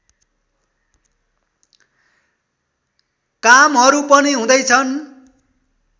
कामहरू पनि हुँदैछन्